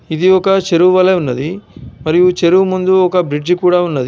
ఇది ఒక చెరువు వలె ఉన్నది. మరియు చెరువు ముందు ఒక బ్రిడ్జ్ కూడా ఉన్నది.